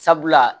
Sabula